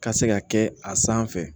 Ka se ka kɛ a sanfɛ